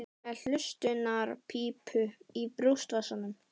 Hann er með hlustunarpípu í brjóstvasanum.